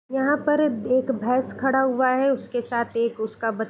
यहाँ पर एक भेंस खड़ा हुआ है | उसके साथ एक उसका बच --